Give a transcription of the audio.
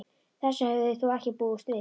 Þessu höfðu þeir þó ekki búist við.